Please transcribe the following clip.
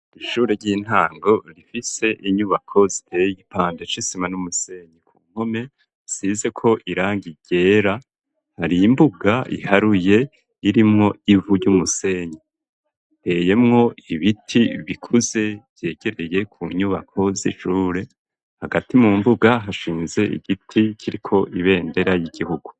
Ishure ry'intango rifise inyubako ziteye igipande c'isima n'umusenyi ku mpome zisizeko irangi ryera hari imbuga iharuye irimwo ivu ry'umusenyi riteyemwo ibiti bikuze vyegereye ku nyubako z'ishure hagati mu mbuga hashinze igiti kiriko ibendera ry'igihugu.